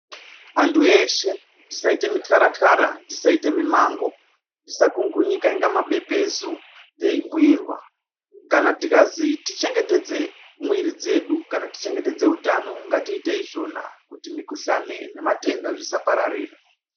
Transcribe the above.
Andu eshee tisaite muxhara xhara tisaite mimango tisakungunika kunge mabepezu teyibhuyirwa kana tikazi tichengetedze muwiri yedu kana tichengetedze utano ngtiite izvona kuti mikhuhlane nematenda zvisapararira.